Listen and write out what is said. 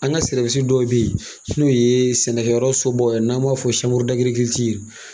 An ka dɔw be ye, n'o ye sɛnɛkɛyɔrɔ sobaw ye n'an b'a fɔ